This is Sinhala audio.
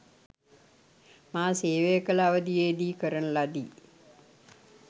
මා සේවය කළ අවධියේදී කරන ලදී.